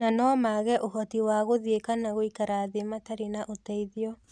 Na no maage ũhoti wa gũthiĩ kana gũikara thĩ matarĩ na ũteithio.